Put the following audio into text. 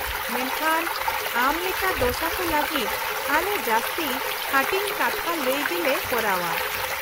-ᱢᱮᱱᱠᱷᱟᱱ ᱟᱢ ᱞᱮᱠᱟ ᱫᱚᱥᱟ ᱠᱚ ᱞᱟᱹᱜᱤᱫ ᱟᱞᱮ ᱡᱟᱹᱥᱛᱤ ᱦᱟᱹᱴᱤᱧ ᱠᱟᱛᱷᱟ ᱞᱟᱹᱭ ᱜᱮᱞᱮ ᱠᱚᱨᱟᱣᱼᱟ ᱾